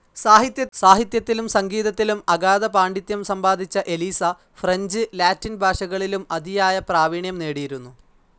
സാഹിത്യത്തിലും, സംഗീതത്തിലും അഗാധ പാണ്ഡിത്യം സമ്പാദിച്ച എലീസ, ഫ്രഞ്ച്, ലാറ്റിൻ ഭാഷകളിലും അതിയായ പ്രാവീണ്യം നേടിയിരുന്നു.